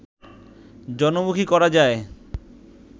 জনমুখী করা যায়